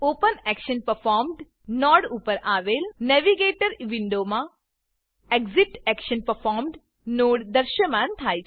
OpenActionPerformed node ઉપર આવેલ navigator navigator વિન્ડોમાં એક્સિટેક્શનપરફોર્મ્ડ નોડ દૃશ્યમાન થાય છે